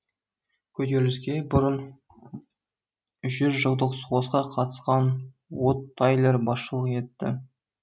көтеріліске бүрын жүз жылдық соғысқа қатысқан уот тайлер басшылық етті